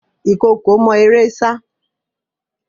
Ìkookò mọ eré sá.